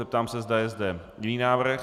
Zeptám se, zda je zde jiný návrh.